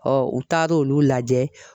Ɔ u taar'olu lajɛ.